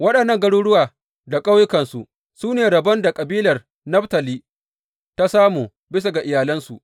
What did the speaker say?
Waɗannan garuruwa da ƙauyukansu su ne rabon da kabilar Naftali ta samu, bisa ga iyalansu.